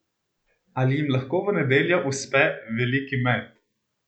Ali jim lahko v nedeljo uspe veliki met?